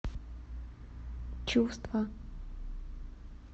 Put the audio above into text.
чувства